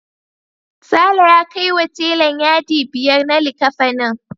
Sale ya kaiwa telan yadi biyar na likkafanin.